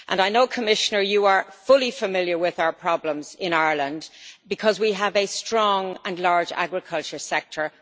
I know, Commissioner, that you are fully familiar with our problems in Ireland, because we have a strong and large agricultural sector.